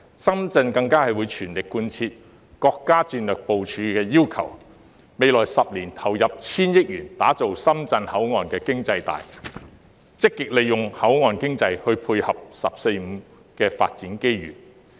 深圳更會全力貫徹國家戰略部署要求，未來10年投入千億元打造深港口岸經濟帶，積極利用口岸經濟帶配合"十四五"發展機遇。